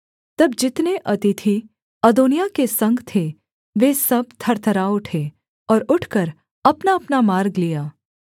तब जितने अतिथि अदोनिय्याह के संग थे वे सब थरथरा उठे और उठकर अपनाअपना मार्ग लिया